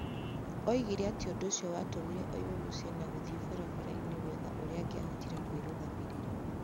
Oigire atĩ ũndũ ũcio watũmire o ime mũciĩ na gũthiĩ barabara-inĩ gwetha ũrĩa angĩahotire kwĩrũgamĩrĩra.